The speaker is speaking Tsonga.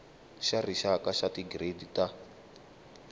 xa rixaka xa tigiredi ta